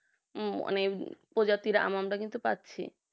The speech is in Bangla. অনেক আহ প্রজাতির আম আমরা কিন্তু পাচ্ছি